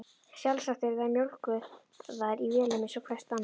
Sjálfsagt eru þær mjólkaðar í vélum eins og flest annað.